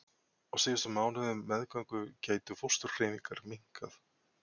Á síðustu mánuðum meðgöngu gætu fósturhreyfingar minnkað.